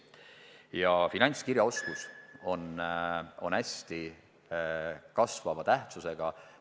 Seega finantskirjaoskus on hästi kasvava tähtsusega.